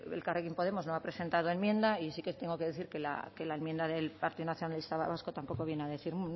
elkarrekin podemos no va a presentar enmienda y sí que tengo que decir que la enmienda del partido nacionalista vasco tampoco viene a decir